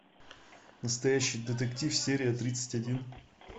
настоящий детектив серия тридцать один